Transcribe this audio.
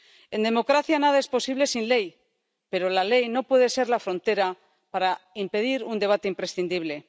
En democracia, nada es posible sin ley, pero la ley no puede ser la frontera para impedir un debate imprescindible.